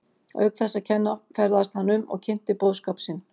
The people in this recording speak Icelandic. Auk þess að kenna ferðaðist hann um og kynnti boðskap sinn.